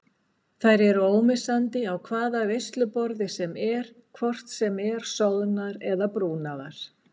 Þær eru ómissandi á hvaða veisluborði sem er hvort sem er soðnar eða brúnaðar.